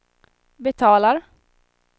betalar